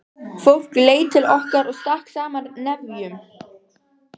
Fólk leit til okkar og stakk saman nefjum.